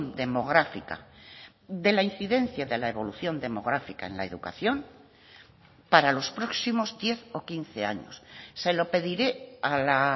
demográfica de la incidencia de la evolución demográfica en la educación para los próximos diez o quince años se lo pediré a la